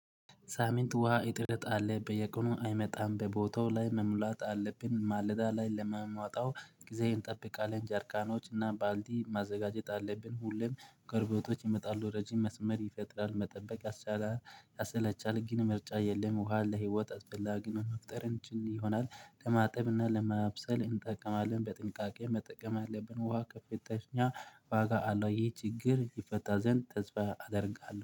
ሳምኅት ውሃ እጥረት አለ በየቀኑ አይመጣም በቦታው ላይ መሙላት አለብኝ። ማለዳ ላይ ለሚመጣው ጊዜዬን እጠብቃለሁ ጃርካኖች እና ባልዲ ማዘጋጀት አለብን። ሁሉም ጎረቤቶች ይመጣሉ ረጅም መስመር ይፈጥራል መጠበቅ። ያሰለቻል ግን ምርጫ የለም። ውሃ ለህይወት አስፈላጊ መፍጠር እንችል ይሆናል። ለማጠብና ለማብሰል እንጠቀማለን በጥንቃቄ መጠቀም አለብን። ውሃ ከፍተኛ ዋጋ አለው። ይህ ችግር ይፈታ ዘንድ ተስፋ አደርጋለሁ